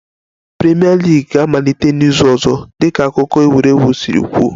Premier League ga-amalite n'izu ọzọ dịka akụkọ egwuregwu si kwuo